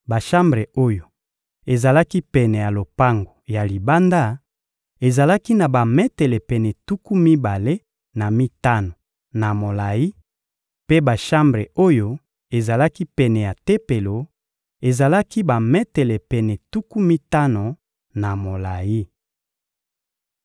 Bashambre oyo ezalaki pene ya lopango ya libanda ezalaki na bametele pene tuku mibale na mitano na molayi, mpe bashambre oyo ezalaki pene ya Tempelo ezalaki bametele pene tuku mitano na molayi.